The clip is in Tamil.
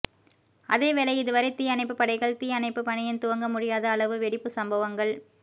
அதேவேளை இதுவரை தீ அணைப்பு படைகள் தீ அணைப்பு பணிகள் துவங்க முடியாத அளவு வெடிப்பு சம்பவங்கள்